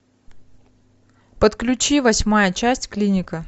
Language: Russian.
подключи восьмая часть клиника